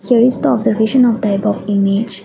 here is the observation of type of image.